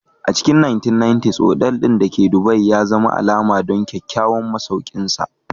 A cikin 1990s, otal ɗin da ke Dubai ya zama alama don kyawawan masaukinsa.